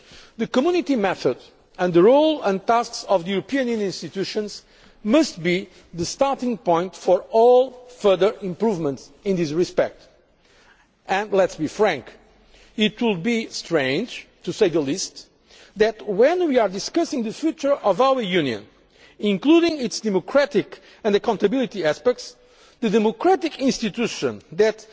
ago. The Community method and the role and tasks of the EU institutions must be the starting point for all further improvements in this respect and, let us be frank, it would be strange to say the least, when we are discussing the future of our Union, including its democratic and accountability aspects, for the democratic institution